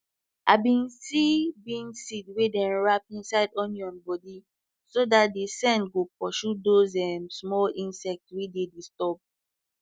i bin see bean seed wey dem wrap inside onion body so de de scent go pursue those um small insect wey dey disturb